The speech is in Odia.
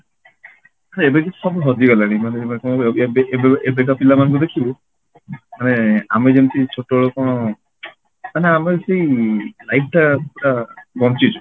ଏବେ କିନ୍ତୁ ସବୁ ହଜି ଗଲାଣି ମାନେ ଏବେ ଏବେ ଏବେକା ପିଲା ମାନଙ୍କୁ ଦେଖିବୁ ମାନେ ଆମେ ଯେମିତି ଛୋଟବେଳେ କଣ ମାନେ ଯେମିତି life ଟା ପୁରା ବଞ୍ଚିଛେ